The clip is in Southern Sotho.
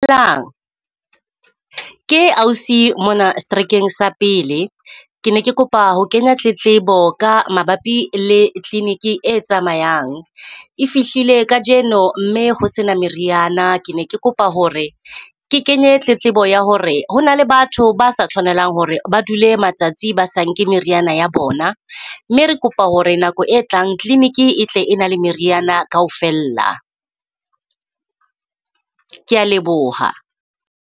Ke ausi mona seterekeng sa pele, ke ne ke kopa ho kenya tletlebo ka mabapi le clinic-e e tsamayang. E fihlile kajeno mme ho se na meriana, ke ne ke kopa ho re ke kenye tletlebo ya hore ho na le batho ba sa tshwanelang ho re ba dule matsatsi ba sa nke meriana ya bona. Mme re kopa ho re nako e tlang clinic-e e tle e na le meriana ka ho fella, ke ya leboha.